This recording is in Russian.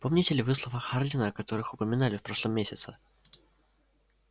помните ли вы слова хардина о которых упоминали в прошлом месяце